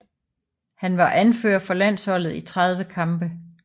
Han var anfører for landsholdet i 30 kampe